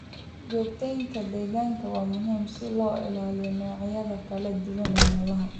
Joogteynta deegaanka waa muhiim si loo ilaaliyo noocyada kala duwan ee noolaha.